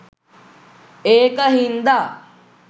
ඒක හින්දා